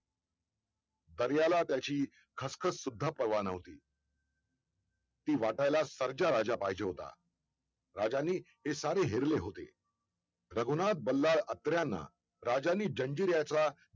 दर्याला त्याची खसखससुद्धा पर्वा नव्हती! ती वाटायला सर्जा राजा पाहिजे होत राजांनी हे सारे हेरले होते! रघुनाथ बल्लाळ अत्र्यांना राजांनी जंजिऱ्याचा